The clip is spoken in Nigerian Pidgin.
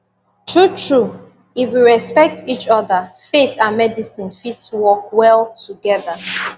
true true if we respect each other faith and medicine fit work well together